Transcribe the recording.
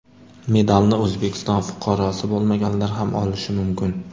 Medalni O‘zbekiston fuqarosi bo‘lmaganlar ham olishi mumkin.